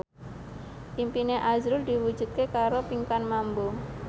impine azrul diwujudke karo Pinkan Mambo